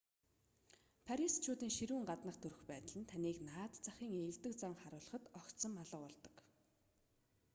парисчуудын ширүүн гаднах төрх байдал нь таныг наад захын эелдэг занг харуулахад огцом алга болдог